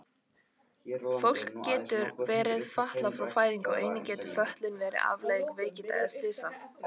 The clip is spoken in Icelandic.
Fólk getur verið fatlað frá fæðingu og einnig getur fötlun verið afleiðing veikinda eða slysa.